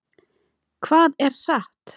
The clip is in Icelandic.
Hvað er satt?